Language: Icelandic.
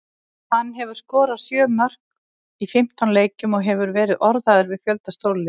Hann hefur skorað sjö mörk í fimmtán leikjum og hefur verið orðaður við fjölda stórliða.